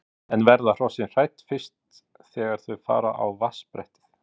En verða hrossin hrædd fyrst þegar þau fara á vatnsbrettið?